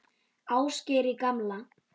Ásgeiri gamla.